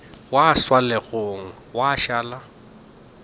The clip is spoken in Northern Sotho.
gwa swa legong gwa šala